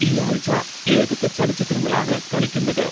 ഈ ആഴ്ച്ച ഏതൊക്കെ ചലച്ചിത്രങ്ങളാണ് കളിക്കുന്നത്